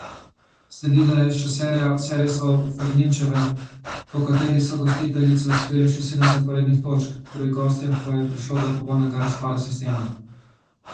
Sledila je še serija servisov Ferlinčeve, po kateri so gostiteljice osvojile še sedem zaporednih točk, pri gostjah pa je prišlo do popolnega razpada sistema.